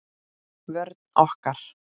Vörn okkar